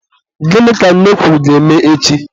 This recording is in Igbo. Gịnị ka nne kwuru ga-eme echi?